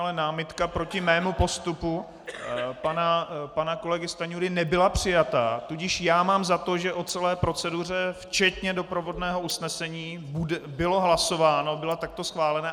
Ale námitka proti mému postupu pana kolegy Stanjury nebyla přijata, tudíž já mám za to, že o celé proceduře včetně doprovodného usnesení bylo hlasováno, byla takto schválena.